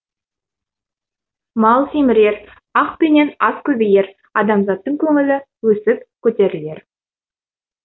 мал семірер ақ пенен ас көбейер адамзаттың көңілі өсіп көтерілер